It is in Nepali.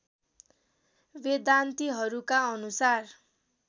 वेदान्तिहरूका अनुसार